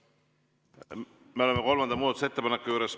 Me oleme kolmanda muudatusettepaneku juures.